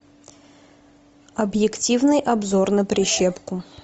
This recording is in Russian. объективный обзор на прищепку